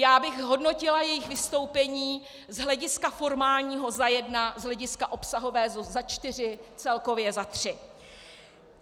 Já bych hodnotila jejich vystoupení z hlediska formálního za jedna, z hlediska obsahového za čtyři, celkově za tři.